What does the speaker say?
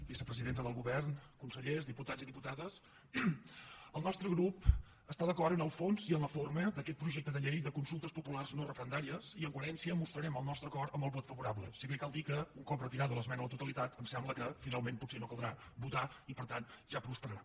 vicepresidenta del govern consellers diputats i diputades el nostre grup està d’acord en el fons i en la forma d’aquest projecte de llei de consultes populars no referendàries i en coherència mostrarem el nostre acord amb el vot favorable si bé cal dir que un cop retirada l’esmena a la totalitat em sembla que finalment potser no caldrà votar i per tant ja prosperarà